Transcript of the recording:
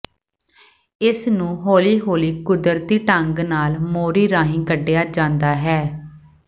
ਇਸਨੂੰ ਹੌਲੀ ਹੌਲੀ ਕੁਦਰਤੀ ਢੰਗ ਨਾਲ ਮੋਰੀ ਰਾਹੀਂ ਕੱਢਿਆ ਜਾਂਦਾ ਹੈ